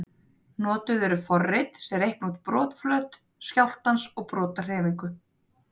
Notuð eru forrit sem reikna út brotflöt skjálftans og brotahreyfingu.